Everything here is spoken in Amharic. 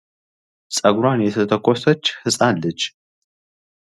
ፀጉሯን የተተኮሰች ህፃን ልጅ